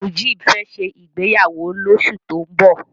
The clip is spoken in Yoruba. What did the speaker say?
Mujeeb fẹ́ ṣe ìgbéyàwó lóṣù tó ń bọ̀.